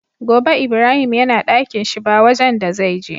Gobe ibrahim yana Ɗakinshi ba wajan da zai je